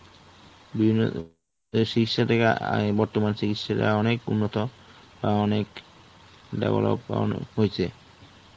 বিভিন্ন চিকিৎসাটাকে, বর্তমান চিকিৎসাটা অনেক উন্নত, অনেক develop করানো হইছে.